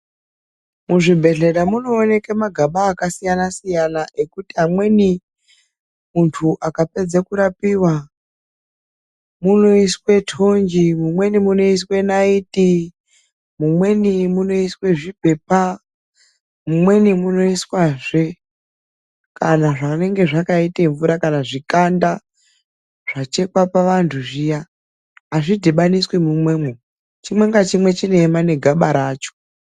Muzvibhedhlera munowaneke magaba akasiyana siyana ekuti amweni, muntu akapedze kurapiwa munoiswe tonje, mumweni munoiswe naiti, mumweni munoiswe zvipepa, mumweni munoiswazve kana zvinenge zvakaite mvura kana zvikanda zvachekwa pavantu zviya. Azvidhibaniswi mumwemo, chimwe ngachimwe chinoema negaba racho.